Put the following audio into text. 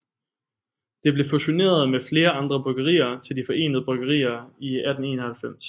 Det blev fusioneret med flere andre bryggerier til De Forenede Bryggerier i 1891